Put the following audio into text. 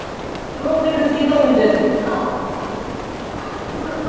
Glotti kannski dálítið.